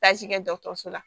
Taaji kɛ dɔgɔtɔrɔso la